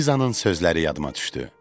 Lizanın sözləri yadıma düşdü.